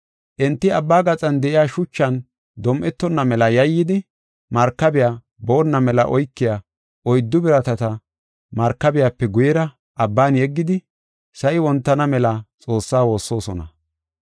Enti abba gaxan de7iya shuchan dom7etona mela yayyidi, markabey boonna mela oykiya oyddu biratata markabiyape guyera abban yeggidi, sa7i wontana mela Xoossaa woossosona.